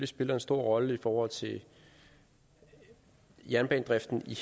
spiller en stor rolle i forhold til jernbanedriften i